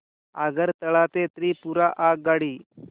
आगरतळा ते त्रिपुरा आगगाडी